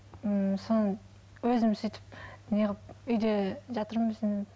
ммм соны өзім сөйтіп не қылып үйде жатырмын